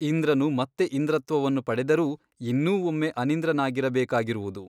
ಇಂಧ್ರನು ಮತ್ತೆ ಇಂದ್ರತ್ವವನ್ನು ಪಡೆದರೂ ಇನ್ನೂ ಒಮ್ಮೆ ಅನಿಂದ್ರನಾಗಿರಬೇಕಾಗಿರುವುದು.